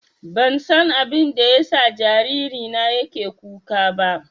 Ban san abinda ya sa jariri na yake kuka ba